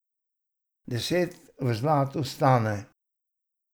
Deset v zlatu stane.